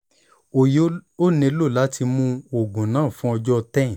o yoo nilo lati mu oogun naa fun ọjọ 10